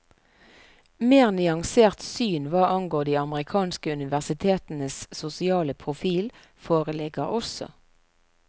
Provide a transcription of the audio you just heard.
Mer nyanserte syn hva angår de amerikanske universitetenes sosiale profil foreligger også.